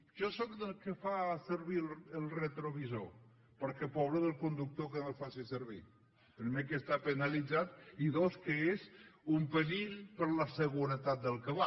jo sóc dels que fa servir el retrovisor perquè pobre del conductor que no el faci servir primer que està penalitzat i dos que és un perill per a la seguretat del que hi va